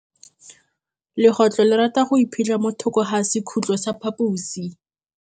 Legôtlô le rata go iphitlha mo thokô ga sekhutlo sa phaposi.